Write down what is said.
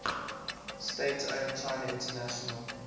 state owned china international